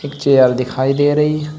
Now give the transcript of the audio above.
Chair दिखाई दे रही है।